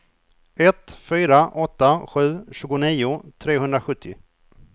ett fyra åtta sju tjugonio trehundrasjuttio